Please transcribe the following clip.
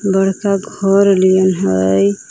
बड़का घर निहर हइ।